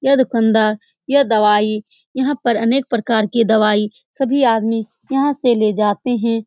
यह देखो अंदर यह दवाई यहाँ पर अनके प्रकार के दवाई सभी आदमी यहाँ से ले जाते हैं ।